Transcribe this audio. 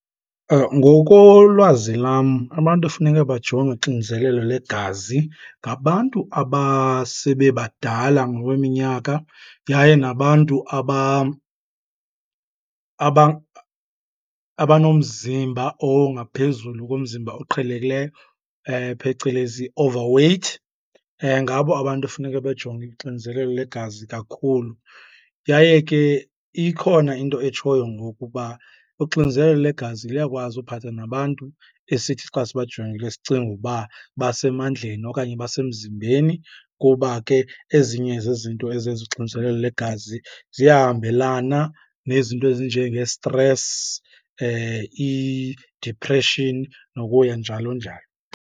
Ngokolwazi lam abantu efuneka bajongwe uxinzelelo legazi ngabantu abasebebadala ngokweminyaka yaye nabantu abanomzimba ongaphezulu komzimba oqhelekileyo, phecelezi overweight, ngabo abantu efuneke bejonge ixinzelelo legazi kakhulu. Yaye ke ikhona into etshoyo ngoku uba uxinzelelo legazi liyakwazi uphatha nabantu esithi xa sibajongile sicinge uba basemandleni okanye basemzimbeni kuba ke ezinye zezinto ezenza uxinzelelo legazi ziyahambelana nezinto ezinjengesitresi idipreshini nokuya njalo njalo.